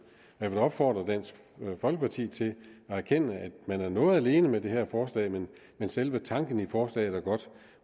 jeg vil opfordre dansk folkeparti til at erkende at man er noget alene med det her forslag men selve tanken i forslaget er godt